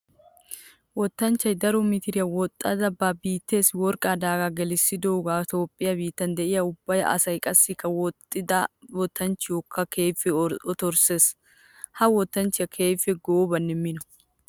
Wottanchchiya daro mitiriya woxxadda ba biittessi worqqa daaga gelissiyooge Toophphiya biittan de'iya ubba asaa qassikka woxxidda wottanchchiyokka keehippe otorssees. Ha wottanchchiyaa keehippe goobanne mino.